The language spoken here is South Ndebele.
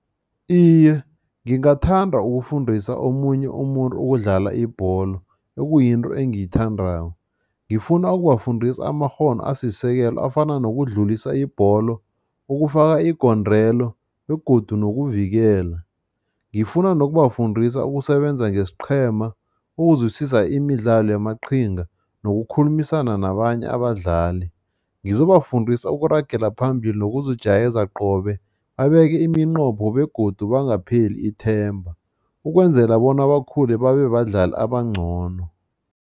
Iye, ngingathanda ukufundisa omunye umuntu ukudlala ibholo, ekuyinto engiyithandako. Ngifuna ukubafundisa amakghono asisekelo afana nokudlulisa ibholo, ukufaka igondelo begodu nokuvikela. Ngifuna nokubafundisa ukusebenza ngesiqhema, ukuzwisisa imidlalo yamaqhinga nokukhulumisana nabanye abadlali. Ngizobafundisa ukuragela phambili nokuzijayeza qobe, babeke iminqopho begodu bangapheli ithemba, ukwenzela bona bakhule babebadlali abangcono.